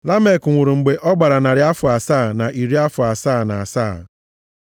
Lamek nwụrụ mgbe ọ gbara narị afọ asaa na iri afọ asaa na asaa.